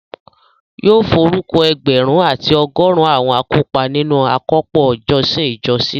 Yóò forúkọ ẹgbẹ̀rún àti ọgọrun àwọn akópa nínu àkópọ̀ ìjọsìn ìjọ sílẹ̀